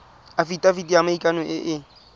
afitafiti ya maikano e e